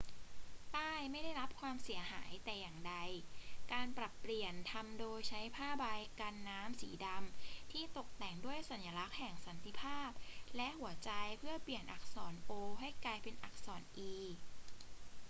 ป้ายไม่ได้รับความเสียหายแต่อย่างใด การปรับเปลี่ยนทำโดยใช้ผ้าใบกันน้ำสีดำที่ตกแต่งด้วยสัญลักษณ์แห่งสันติภาพและหัวใจเพื่อเปลี่ยนอักษร o ให้กลายเป็นอักษร e